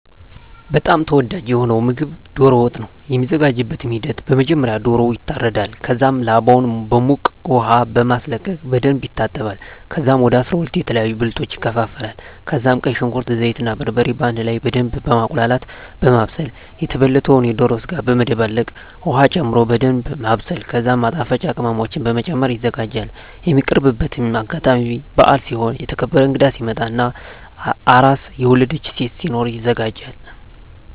በጣም ተወዳጂ የሆነዉ ምግብ ዶሮ ወጥ ነዉ። የሚዘጋጅበትም ሂደት በመጀመሪያ ዶሮዉ ይታረዳል ከዛም ላባዉን በዉቅ ዉሃ በማስለቀቅ በደንብ ይታጠባል ከዛም ወደ 12 የተለያዩ ብልቶች ይከፋፈላል ከዛም ቀይ ሽንኩርት፣ ዘይት እና በርበሬ በአንድ ላይ በደምብ በማቁላላት(በማብሰል) የተበለተዉን የዶሮ ስጋ በመደባለቅ ዉሀ ጨምሮ በደንምብ ማብሰል ከዛም ማጣፈጫ ቅመሞችን በመጨመር ይዘጋጃል። የሚቀርብበትም አጋጣሚ በአል ሲሆን፣ የተከበረ እንግዳ ሲመጣ እና አራስ (የወለደች ሴት) ሲኖር ይዘጋጃል።